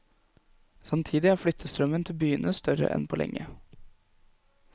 Samtidig er flyttestrømmen til byene større enn på lenge.